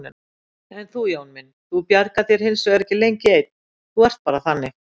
En þú, Jón minn, þú bjargar þér hinsvegar ekki lengi einn, þú ert bara þannig.